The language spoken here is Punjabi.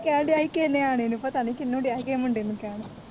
ਕਹਿਣ ਦਿਆ ਹੀ ਕਿਸੇ ਨਿਆਣੇ ਨੂੰ ਪਤਾ ਨਹੀਂ ਕਿਨੂੰ ਦਿਆ ਹੀ ਕਿਹੇ ਮੁੰਡੇ ਨੂੰ ਕਹਿਣ